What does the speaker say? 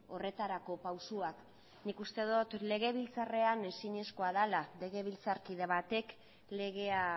horretarako pausuak nik uste dut legebiltzarrean ezinezkoa dela legebiltzarkide batek legea